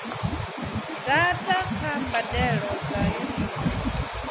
data kha mbadelo dza yunithi